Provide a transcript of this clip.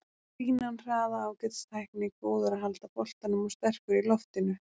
Fínan hraða, ágætis tækni, góður að halda boltanum og sterkur í loftinu.